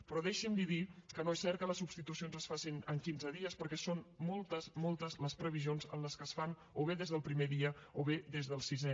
però deixi’m dir li que no és cert que les substitucions es facin en quinze dies perquè són moltes moltes les previsions en què es fan o bé des del primer dia o bé des del sisè